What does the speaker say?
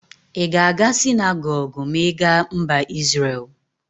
I ga aga sinagogu ma I ga Mba Isrel?